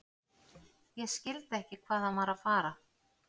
Ég skildi ekki hvað hann var að fara.